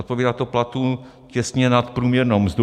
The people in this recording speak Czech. Odpovídá to platu těsně nad průměrnou mzdu.